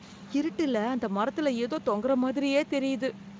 இருட்டுல அந்த மரத்துல ஏதோ தொங்கற மாதிரியே தெரியுது.